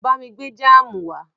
Bá mi gbé jáámù wá.